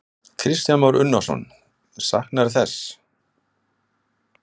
Kristján Már Unnarsson: Saknarðu þess?